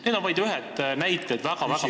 Need on vaid mõned näited väga-väga paljudest.